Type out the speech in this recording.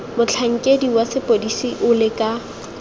motlhankedi wa sepodisi o leka